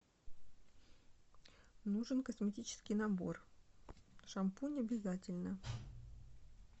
нужен косметический набор шампунь обязательно